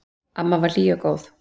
Amma var hlý og góð.